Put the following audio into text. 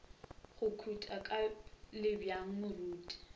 go khuta ka lebjang moruti